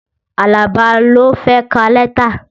Alaba ló fẹ́ ka lẹ́tà